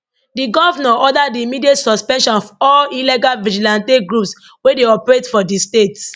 di govnor order di immediate suspension of all illegal vigilante groups wey dey operate for di state